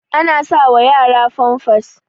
ana sawa yara famfas